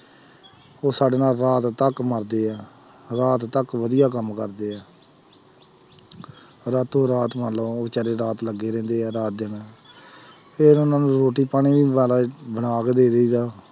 ਉਹ ਸਾਡੇ ਨਾਲ ਰਾਤ ਤੱਕ ਮਰਦੇ ਹੈ, ਰਾਤ ਤੱਕ ਵਧੀਆ ਕੰਮ ਕਰਦੇ ਹੈ ਰਾਤੋ ਰਾਤ ਬੇਚਾਰੇ ਰਾਤ ਲੱਗੇ ਰਹਿੰਦੇ ਹੈ ਰਾਤ ਦਿਨ ਫਿਰ ਉਹਨਾਂ ਨੂੰ ਰੋਟੀ ਪਾਣੀ ਵੀ ਬਣਾ ਕੇ ਦੇ ਦੇਈਦਾ।